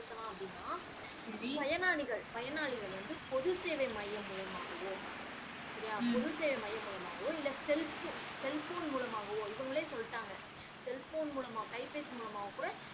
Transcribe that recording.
செலுத்தலாம் அப்படின்னா பயனாளிகள் பயனாளிகள் வந்து பொது சேவை மையம் மூலமாகவோ செரியா பொது சேவை மையம் மூலமாகவோ இல்ல செல்ப்பு செல்போன் மூலமாகவோ இவங்களே சொல்லிட்டாங்க செல்போன் மூலமா கை பேசி மூலமாகவோ கூட